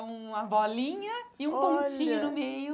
Que é uma bolinha olha e um pontinho no meio.